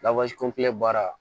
Lawaji kɔnpilɛ baara